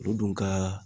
U dun ka